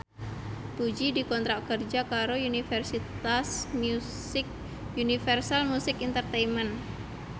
Puji dikontrak kerja karo Universal Music Entertainment